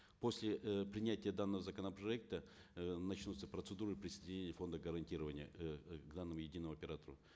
после э принятия данного законопроекта э начнутся процедуры присоединения фонда гарантирования эээ к главному единому оператору